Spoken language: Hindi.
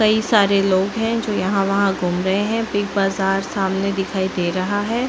कई सारे लोग है जो यहाँ वहाँ घूम रहे है बिग बाजार सामने दिखाई दे रहा है।